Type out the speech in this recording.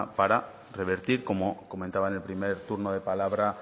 para revertir como comentaba en el primer turno de palabra